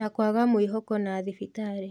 Na kwaga mwĩhoko na thibirarĩ